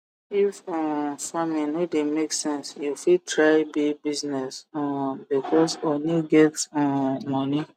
if um farming no de make sense you fit try bee business um becos honey get um moni